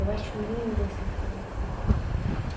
Eu acho lindo essa coisa.